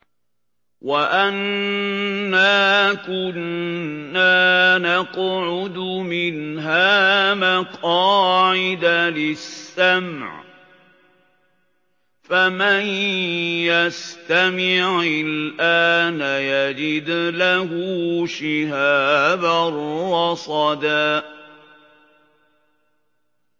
وَأَنَّا كُنَّا نَقْعُدُ مِنْهَا مَقَاعِدَ لِلسَّمْعِ ۖ فَمَن يَسْتَمِعِ الْآنَ يَجِدْ لَهُ شِهَابًا رَّصَدًا